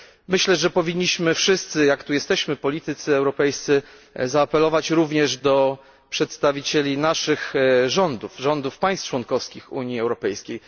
Myślę, że powinniśmy wszyscy jako politycy europejscy zaapelować również do przedstawicieli naszych rządów, rządów państw członkowskich Unii Europejskiej.